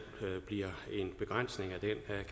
bliver en begrænsning